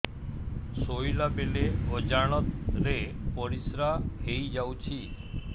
ଶୋଇଲା ବେଳେ ଅଜାଣତ ରେ ପରିସ୍ରା ହେଇଯାଉଛି